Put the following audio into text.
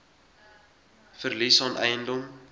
verlies aan eiendom